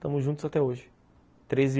Estamos juntos até hoje, treze